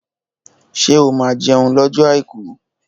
Ṣé o máa jẹun lọ́jọ́ àìkú?